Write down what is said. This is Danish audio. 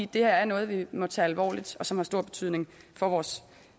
det her er noget vi må tage alvorligt og som har stor betydning for vores